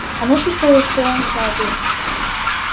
она чувствовала что он знает её